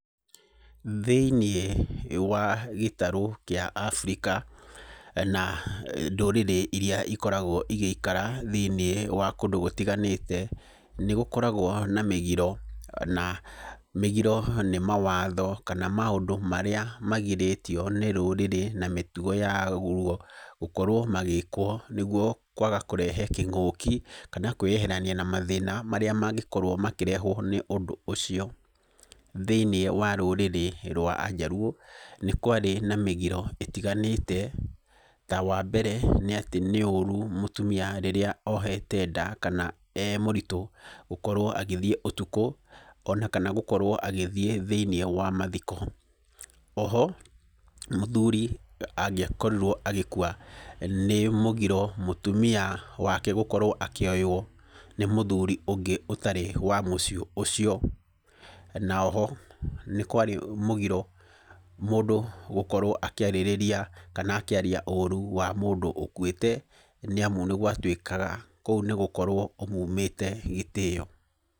Thĩiniĩ wa gĩtarũ kĩa Abirika na ndũrĩrĩ iria ikoragwo igĩikara thĩiniĩ wa kũndũ gũtiganĩte nĩgũkoragwo na mĩgiro. Na mĩgiro nĩ mawatho kana maũndũ marĩa magirĩtio nĩ rũrĩrĩ na mĩtugo yaguo, gũkorwo magĩkwo nĩguo kwaga kũrehe kĩng'ũki kana kwĩyeherania na mathĩna marĩa mangĩkorwo makĩrehwo nĩ ũndũ ũcio. Thĩiniĩ wa rũrĩrĩ rwa njaruo nĩ kwarĩ na mĩgiro ĩtiganĩte, ta wa mbere nĩ ũru rĩrĩa mũtumia ohete nda, kana arĩ mũritũ gũkorwo agĩthiĩ ũtukũ kana gũkorwo agĩthiĩ thĩiniĩ wa mathiko. O ho mũthuri angĩakorirwo agĩkua nĩ mũgiro mũtumia wake gũkorwo akĩoywo nĩ mũthuri ũngĩ ũtarĩ wa mũciĩ ũcio. Na o ho nĩ kwarĩ mũgiro mũndũ gũkorwo akĩarĩrĩria kana akĩaria ũru wa mũndũ ũkuĩte, nĩ amu nĩgwatuĩkaga kũu nĩgũkorwo ũmumĩte gĩtĩo.